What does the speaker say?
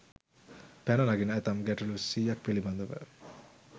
පැන නගින ඇතැම් ගැටලු 100 ක් පිළිබඳව